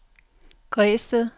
Græsted